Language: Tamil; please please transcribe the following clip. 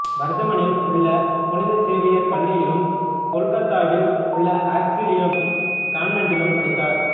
வர்தமனில் உள்ள புனித சேவியர் பள்ளியிலும் கொல்கத்தாவில் உள்ள ஆக்ஸிலியம் கான்வென்ட்டிலும் படித்தார்